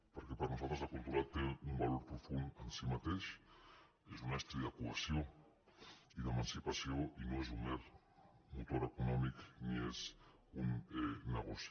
perquè per nosaltres la cultura té un valor profund en si mateix és un estri de cohesió i d’emancipació i no és un mer motor econòmic ni és un negoci